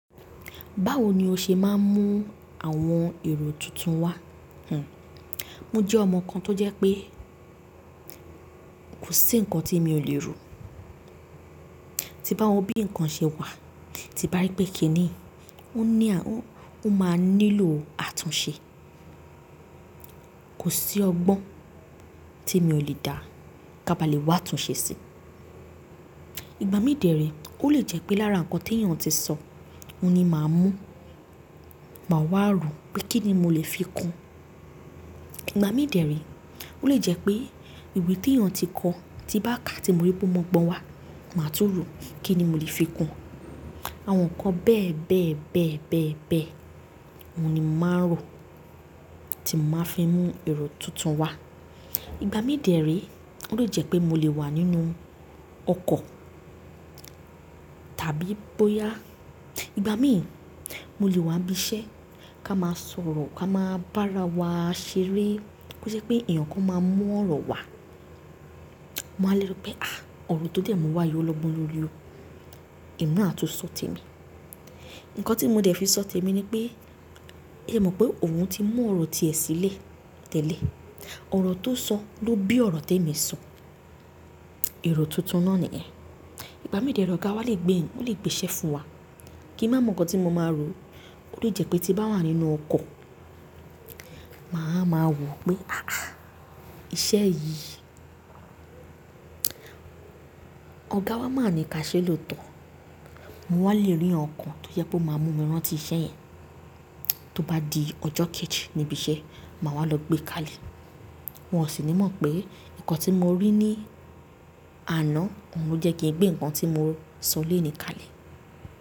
Báwo ni o ṣe máa ń mú àwọn èrò tuntun wá? Mo jẹ́ ọmọ kan tó jẹ́ pé kò sí nǹkan tí mi ò lè rò. Tí bá wo bí ǹkan ṣe wà, tí bá rí pé kí ni yi o ní à Ó máa nílò àtúnṣe. Kò sí ọgbọ́n tí mi ò lè dá ká ba lè wá àtúnṣe ṣe sí. Ìgbà mí dẹ̀rẹ̀, ó lè jẹ́ pé lára nǹkan tí èèyàn ti sọ, òun ni màá mú, màá wá rò pé kí ni mo lè fi kun. Ìgbà mí dẹ̀rẹ̀, ó lè jẹ́ pé ìwé tí èèyàn ti kọ, tí bá ká tí mo rí pé mo mọ ọgbọ́n wá, màá tún rò kí ni mo lè fi kun. Àwọn nǹkan bẹ́ẹ̀ bẹ́ẹ̀ bẹ́ẹ̀ bẹ́ẹ̀ bẹ́ẹ̀, òun ni màá rò tí mo màá fi mú èrò tuntun wá. Ìgbà mí dẹ̀rẹ̀, ó lè jẹ́ pé mo lè wà nínú ọkọ̀ tàbí bóyá ìgbà mí, mo lè wà ibi iṣẹ́ ká máa sọ̀rọ̀ ká máa bára wa ṣeré. Kí ó jẹ́ pé èèyàn kan máa mu ọ̀rọ̀ wà, mowa lé sọ pé, àh! Ọ̀rọ̀ tó dé mu wá yìí ó lọ́gbọ́n lórí o. Emi na àtúnṣọ̀ tẹ́ mi. Nǹkan tí mo dẹ̀ fi sọ̀ tẹ́ mi ni pé, ẹ mọ̀ pé òun ti mú ọ̀rọ̀ ti ẹ̀ sílẹ̀ tẹ́lẹ̀. Ọ̀rọ̀ tó sọ ló bí ọ̀rọ̀ tẹ́ mi sọ. Èrò tuntun náà ni ẹ̀. Ìgbà mí dẹ̀rẹ̀ ọ̀gá wa lè gbé Ó lè gbèsẹ fún wa. Kí n má mọ̀ nǹkan tí mo máa rò. Ó lè jẹ́ pé tí bá wà nínú ọkọ̀, màá ma wò pé, à á à! Iṣẹ́ yìí, ọ̀gá wa máa ní ká ṣé lóòótọ́. Mo wà lè rí ǹkankan tó jẹ́ pé ó máa mú mi rántí iṣẹ́ yẹn. Tó bá di ọjọ́ kejì níbi iṣẹ́, màá wá lọ gbé káàlẹ. N ò sì nímọ̀ pé nǹkan tí mo rí ní àná, òun ló jẹ́ kí n gbé nǹkan tí mo sọ léèní káàlẹ.